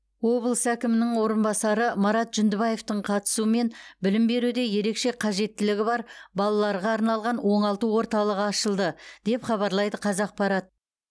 облыс әкімінің орынбасары марат жүндібаевтың қатысуымен білім беруде ерекше қажеттілігі бар балаларға арналған оңалту орталығы ашылды деп хабарлайды қазақпарат